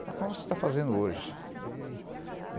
Como você está fazendo hoje?